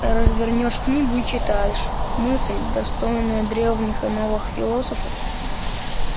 развернёшь книгу и читаешь мысль достойная древних и новых философов